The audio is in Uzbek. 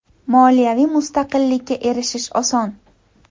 Moliyaviy mustaqillikka erishish oson.